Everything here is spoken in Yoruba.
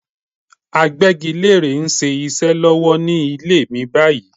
Agbẹ́gilérè ń ṣiṣẹ́ lórí ilé mi báyìí